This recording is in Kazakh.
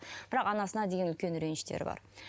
бірақ анасына деген үлкен реніштері бар